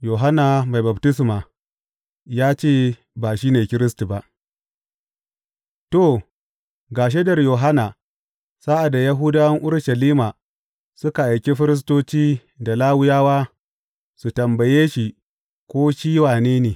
Yohanna Mai Baftisma ya ce ba shi ne Kiristi ba To, ga shaidar Yohanna sa’ad da Yahudawan Urushalima suka aiki firistoci da Lawiyawa su tambaye shi ko shi wane ne.